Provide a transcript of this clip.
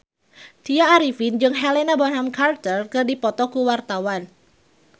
Tya Arifin jeung Helena Bonham Carter keur dipoto ku wartawan